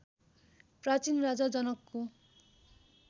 प्राचीन राजा जनकको